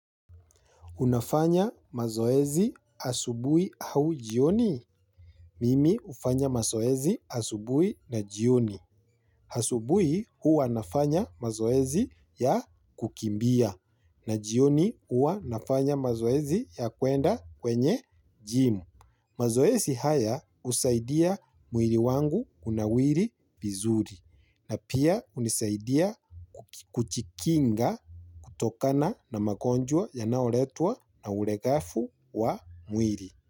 Unafanya mazoezi asubuhi au jioni? Mimi ufanya mazoezi asubui na jioni. Asubuhi huwa nafanya mazoezi ya kukimbia. Na jioni huwa nafanya mazoezi ya kuenda kwenye jimu. Mazoezi haya husaidia mwili wangu unawiri vizuri. Na pia hunisaidia kujikinga kutokana na magonjwa ya naoletwa na uregefu wa mwili.